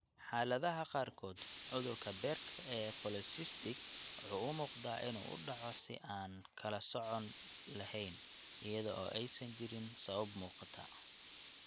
Xaaladaha qaarkood, cudurka beerka ee polycystic wuxuu u muuqdaa inuu u dhaco si aan kala sooc lahayn, iyada oo aysan jirin sabab muuqata.